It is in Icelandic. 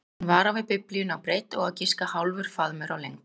Hún var á við Biblíuna á breidd og á að giska hálfur faðmur á lengd.